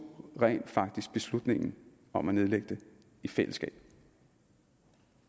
rent faktisk beslutningen om at nedlægge det i fællesskab